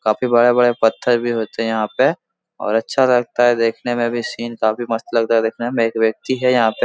काफी बड़ा-बड़ा पत्थर भी होते हैं यहाँ पे और अच्छा लगता है देखने में भी सीन काफी मस्त लगता है देखने में। एक व्यक्ति है यहाँ पे।